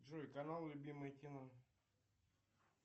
джой канал любимое кино